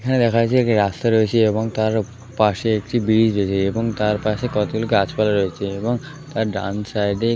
এখানে দেখা যাচ্ছে একটি রাস্তা রয়েছে এবং তার পাশে একটি ব্রিজ রয়েছে এবং তার পাশে কতগুলো গাছপালা রয়েছে এবং তার ডান সাইড - এ ।